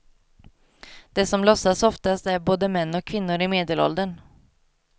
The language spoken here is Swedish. De som låtsas oftast är både män och kvinnor i medelåldern.